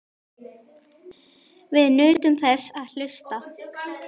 Við nutum þess að hlusta.